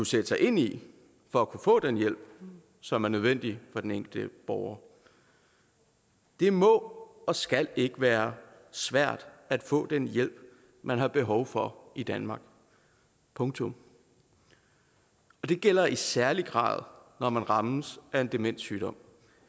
sætte sig ind i for at kunne få den hjælp som er nødvendig for den enkelte borger det må og skal ikke være svært at få den hjælp man har behov for i danmark punktum og det gælder i særlig grad når man rammes af en demenssygdom